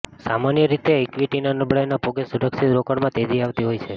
સામાન્ય રીતે ઇક્વિટીની નબળાઈના ભોગે સુરક્ષિત રોકાણમાં તેજી આવતી હોય છે